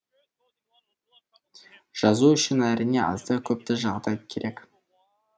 жазу үшін әрине азды көпті жағдай керек